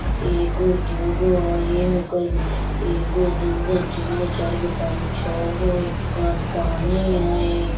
एगो दूगो एगो दूगो तीनगो चारगो पाँचगो छौगो हइ पानी हई।